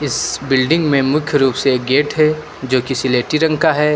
इस बिल्डिंग में मुख्य रूप से एक गेट है जो कि रंग का है।